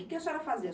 O que a senhora fazia?